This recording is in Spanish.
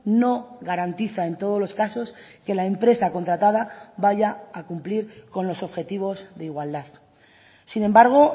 no garantiza en todos los casos que la empresa contratada vaya a cumplir con los objetivos de igualdad sin embargo